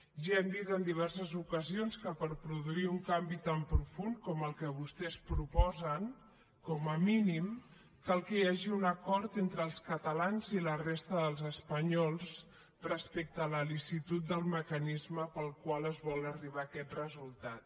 ja hem dit en diverses ocasions que per produir un canvi tan profund com el que vostès proposen com a mínim cal que hi hagi un acord entre els catalans i la resta dels espanyols respecte a la licitud del mecanisme pel qual es vol arribar a aquest resultat